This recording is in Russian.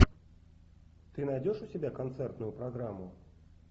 ты найдешь у себя концертную программу